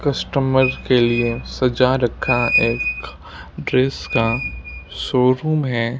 Customer के लिए सजा रखा एक ड्रेस का शोरूम है।